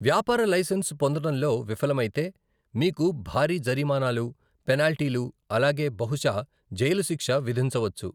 వ్యాపార లైసెన్స్ పొందడంలో విఫలమైతే మీకు భారీ జరిమానాలు, పెనాల్టీలు, అలాగే బహుశా జైలు శిక్ష విధించవచ్చు.